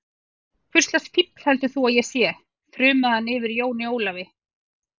Hvurslags fífl heldur þú að ég sé, þrumaði hann yfir Jóni Ólafi.